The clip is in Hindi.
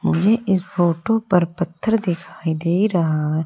मुझे इस फोटो पर पत्थर दिखाई दे रहा है।